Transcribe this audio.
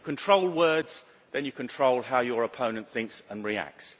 If you control words, you control how your opponent thinks and reacts.